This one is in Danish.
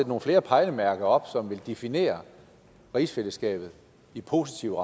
nogle flere pejlemærker op som vil definere rigsfællesskabet i positive